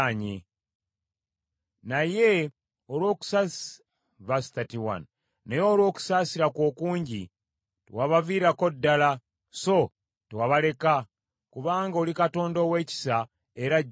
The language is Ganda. Naye olw’okusaasira kwo okungi, tewabaviirako ddala so tewabaleka, kubanga oli Katonda ow’ekisa era ajjudde okusaasira.